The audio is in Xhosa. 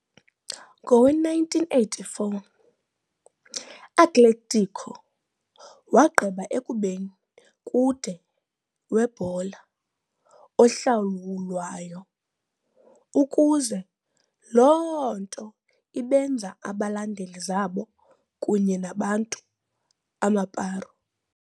Ngowe-1984, Atletico wagqiba ekubeni kude webhola ohlawulwayo, ukuze loo nto ibenza abalandeli zabo kunye nabantu Amparo.